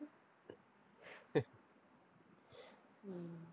உம்